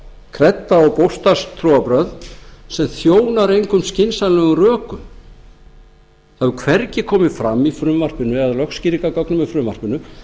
kredda og bókstafstrúarbrögð sem þjónar engum skynsamlegum rökum það hefur hvergi komið fram í frumvarpinu eða í lögskýringargögnum með frumvarpinu